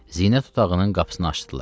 Zinət otağının qapısını açdılar.